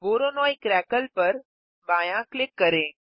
Voronoi crackle पर बायाँ click करें